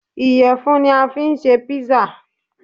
Iyẹfun ní a fí n ṣe písà